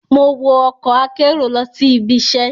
Mo wo ọkọ akero lọ si ibiṣẹ